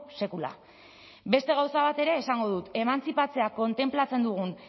sekula beste gauza bat ere esango dut emantzipatzea kontenplatzen dugun